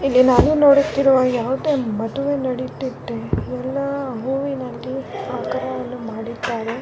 ಇಲ್ಲಿ ನಾನು ನೊಡುತ್ತಿರುವ ಯಾವುದೇ ಮದುವೆ ನಡೆಯುತ್ತಿದೆ ಎಲ್ಲ ಹೂವಿನಲ್ಲಿ ಆಕಾರ ಎಲ್ಲ ಮಾಡಿದ್ದಾರೆ .